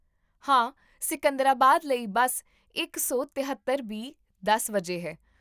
ਹਾਂ, ਸਿਕੰਦਰਾਬਾਦ ਲਈ ਬੱਸ ਇਕ ਸੌ ਤਹੇਤਰ ਬੀ ਦਸ ਵਜੇ ਹੈ